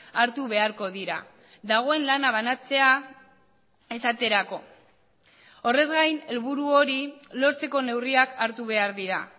hartu beharko dira dagoen lana banatzea esaterako horrez gain helburu hori lortzeko neurriak hartu behar dira